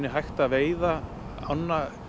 hægt að veiða ánna